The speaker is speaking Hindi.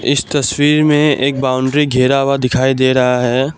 इस तस्वीर में एक बाउंड्री घेरा हुआ दिखाई दे रहा है।